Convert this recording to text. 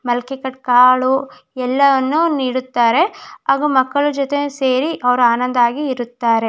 ಮೊಳಕೆ ಕಟ್ ಕಾಲು ಎಲ್ಲವನ್ನು ನೀಡುತ್ತಾರೆ ಹಾಗೆ ಮಕ್ಕಳ ಜೊತೆ ಸೇರಿ ಅವರು ಆನಂದವಾಗಿ ಇರುತ್ತಾರೆ.